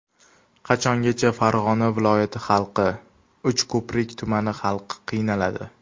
Qachongacha Farg‘ona viloyati xalqi, Uchko‘prik tumani xalqi qiynaladi?